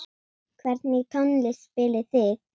Hvernig tónlist spilið þið?